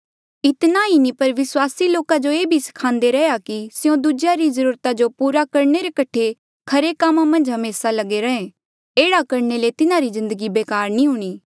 इतना ही नी पर विस्वासी लोका जो ये भी स्खान्दे रैहया कि स्यों दूजेया री ज्रूरता जो पूरा करणे रे कठे खरे कामा मन्झ हमेसा लगे रैंहे एह्ड़ा करणे ले तिन्हारी जिन्दगी बेकार नी हूणीं